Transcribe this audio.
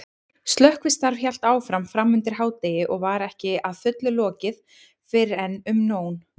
Slökkvistarf hélt áfram framundir hádegi og var ekki að fullu lokið fyrren um nón.